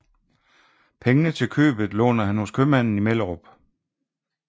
Pengene til købet låner han hos købmanden i Mellerup